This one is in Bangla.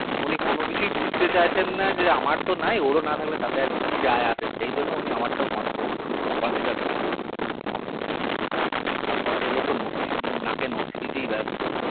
উনি কোনো কিছুই বুজতে চাচ্ছে না যে আমার তো নাই ওর ও না থাকলে তাতে কি যাই আছে সেই জন্য উনি আমার টাও consider করছে না আর ভদ্র লোক তো নর্সি নাকে নর্সি দিতেই ব্যাস্ত